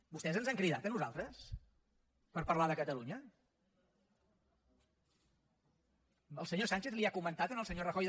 vostès ens han cridat a nosaltres per parlar de catalunya el senyor sánchez ha comentat al senyor rajoy